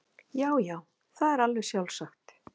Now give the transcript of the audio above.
Já já, það er alveg sjálfsagt.